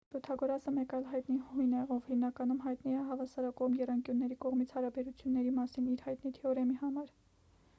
պյութագորասը մեկ այլ հայտնի հույն է ով հիմնականում հայտնի է հավասարակողմ եռանկյունների կողմերի հարաբերությունների մասին իր հայտնի թեորեմի համար